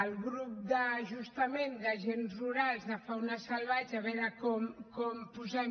el grup de justament d’agents rurals de fauna salvatge a veure com posem